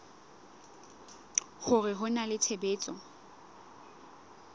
hore ho na le tshebetso